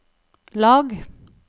lag